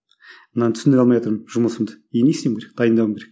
мынаны түсіндіре алмайатырмын жұмысымды енді не істеуім керек дайындалуым керек